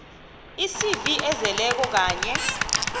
icv ezeleko kanye